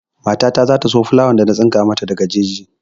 Mata ta za ta so filawar da na tsinko mata daga jeji.